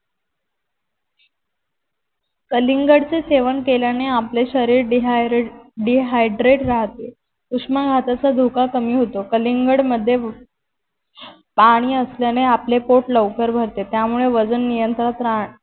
कलिंगड चे सेवन केल्याने आपले शरीर dehydrate राहते. उष्मघाताचा धोका कमी होतो कलिंगड मध्ये पानी असल्याने आपले पोट लवकर भरते त्यामुळे वजन नियंत्रणात